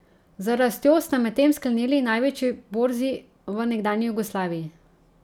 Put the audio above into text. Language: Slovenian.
Z rastjo sta medtem sklenili največji borzi v nekdanji Jugoslaviji.